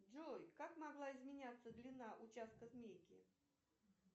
джой как могла изменяться длина участка змейки